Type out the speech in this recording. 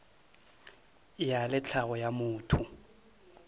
ya le tlhago ya motho